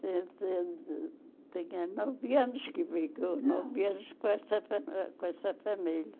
Tenho nove anos que fico, nove anos com essa com essa família.